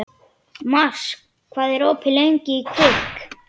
Mars, hvað er opið lengi í Kvikk?